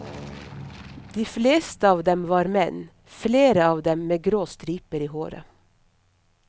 De fleste var menn, flere av dem med grå striper i håret.